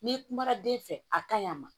N'i kumara den fɛ a ka ɲi a ma